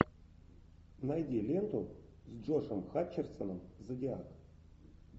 найди ленту с джошем хатчерсоном зодиак